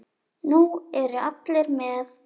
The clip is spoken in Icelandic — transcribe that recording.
Nú eru allir með!